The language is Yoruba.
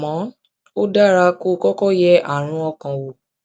àmọ ó dára kó o kọkọ yẹ àrùn ọkàn wò